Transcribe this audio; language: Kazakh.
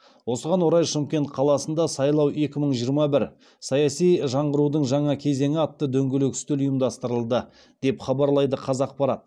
осыған орай шымкент қаласында сайлау екі мың жиырма бір саяси жаңғырудың жаңа кезеңі атты дөңгелек үстел ұйымдастырылды деп хабарлайды қазақпарат